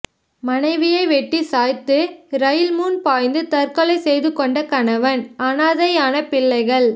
மனைவியை வெட்டி சாய்த்து ரயில் முன் பாய்ந்து தற்கொலை செய்து கொண்ட கணவன் அநாதையான பிள்ளைகள்